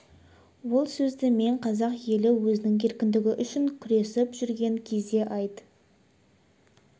ол сөзді мен қазақ елі өзінің еркіндігі үшін күресіп жүрген кезде айт